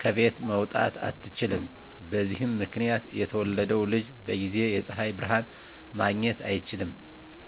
ከቤት መውጣት አትችልም። በዚህ ምክንያት የተወለደው ልጅ በጊዜ የፀሀይ ብርሀን ማግኘት አይችልም።